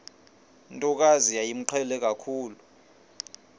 ntokazi yayimqhele kakhulu